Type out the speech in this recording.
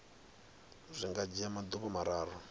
zwi nga dzhia maḓuvha mararu